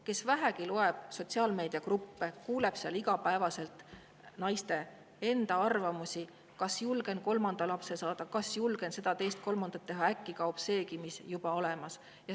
Kes vähegi loeb sotsiaalmeediagruppe, näeb seal iga päev naiste enda arvamusi: kas julgen kolmanda lapse saada, kas julgen seda, teist, kolmandat teha; äkki kaob seegi, mis juba olemas.